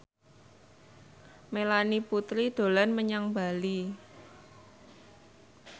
Melanie Putri dolan menyang Bali